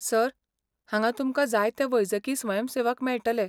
Sir, हांगां तुमकां जायते वैजकी स्वयंसेवक मेळटले.